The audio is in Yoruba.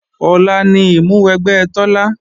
Ọ̀la ni ìmúwẹgbẹ́ Tọ́lá